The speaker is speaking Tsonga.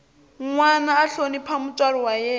nwana a hlonipha mutswari wa yena